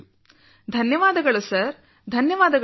ಧನ್ಯವಾದಗಳು ಸರ್ ಧನ್ಯವಾದಗಳು ಸರ್